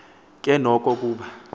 ke noko kuba